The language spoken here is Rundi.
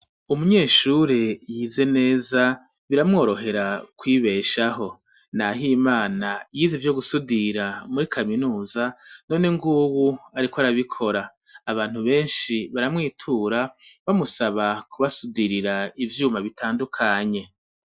Umunyeshure yize neza biramworohera kwibeshaho, Nahimana yize ivyo gusudira muri kaminuza, none nguwu ariko arabikora. Abantu benshi baramwitura bamusaba kubasudirira ivyuma bitandukanye.